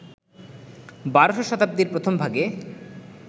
১২শ শতাব্দীর প্রথমভাগে,